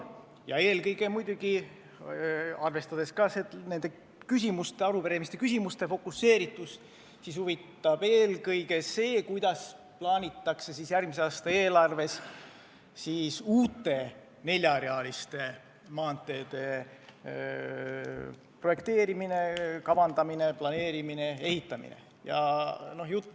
Ja muidugi, arvestades meie arupärimise küsimuste fookust, huvitab meid eelkõige see, kuidas on järgmise aasta eelarves planeeritud uute neljarealiste maanteede projekteerimine, kavandamine, planeerimine, ehitamine.